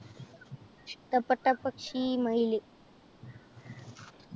ഇഷ്ടപെട്ട പക്ഷി മയില്,